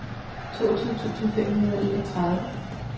toogtyve tusind fem hundrede og enogtredive